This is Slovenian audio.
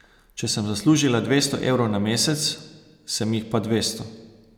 Če sem zaslužila dvesto evrov na mesec, sem jih pa dvesto.